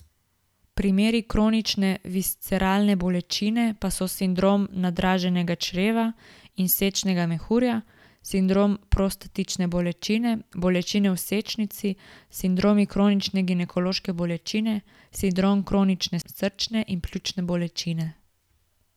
Primeri kronične visceralne bolečine pa so sindrom nadraženega čreva in sečnega mehurja, sindrom prostatične bolečine, bolečine v sečnici, sindromi kronične ginekološke bolečine, sindrom kronične srčne in pljučne bolečine.